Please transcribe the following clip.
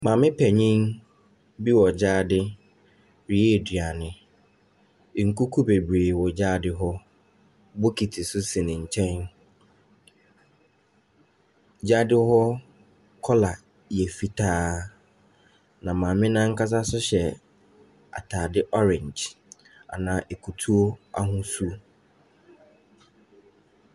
Maame panin bi wɔ gyaade reyɛ aduane. Nkuku bebree wɔ gyaade hɔ. Bokiti nso si ne nkyɛn. Gyaade hɔ kɔla yɛ fitaa, na maame no ankasa nso hyɛ atade orange anaa akutuo ahosuo.